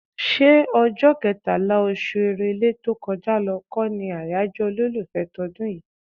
ṣé ọjọ́ kẹtàlá, oṣù Èrèlé tó kọjá lọ kọ́ ni àyájọ́ olólùfẹ́ tọdún yìí?